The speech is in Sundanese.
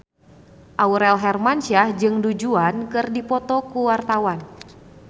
Aurel Hermansyah jeung Du Juan keur dipoto ku wartawan